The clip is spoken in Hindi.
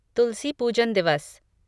तुलसी पूजन दिवस